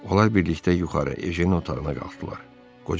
Onlar birlikdə yuxarı Ejen otağına qalxdılar.